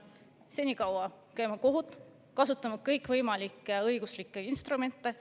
Senikaua käime me kohut ja kasutame kõikvõimalikke õiguslikke instrumente.